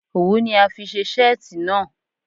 Owu ni a fi ṣe seeti naa